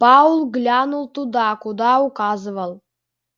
пауэлл глянул туда куда указывал